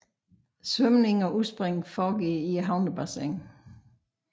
Svømning og udspring foregår i havnebassinet